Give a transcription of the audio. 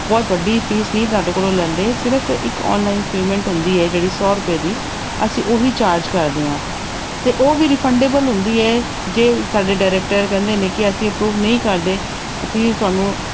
ਬਹੁਤ ਵੱਡੀ fees ਨਹੀਂ ਤੁਹਾਡੇ ਕੋਲੋਂ ਲੈਂਦੇ ਸਿਰਫ਼ ਇੱਕ online payment ਹੁੰਦੀ ਹੈ ਜਿਹੜੀ ਸੌ ਰੁਪਏ ਦੀ ਅਸੀਂ ਉਹੀ charge ਕਰਦੇ ਹਾਂ ਤੇ ਉਹ ਵੀ refundable ਹੁੰਦੀ ਹੈ ਜੇ ਸਾਡੇ director ਕਹਿੰਦੇ ਨੇ ਕਿ ਅਸੀਂ approve ਨਹੀਂ ਕਰਦੇ ਅਸੀਂ ਤੁਹਾਨੂੰ